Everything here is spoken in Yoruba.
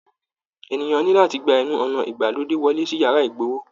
Ènìyàn ní láti gbà ẹnu ọnà ìgbàlódé wọlé sí yàrá igbowó